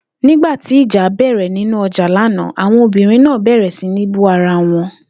Nígbà tí ìjà bè̩rè̩ nínú o̩jà lánàá, awon obìnrin náà bè̩rè̩ sí ní bú ara wo̩n